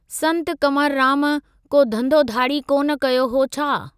संत कंवरराम को धंधो धाड़ी कोन कयो हो छा?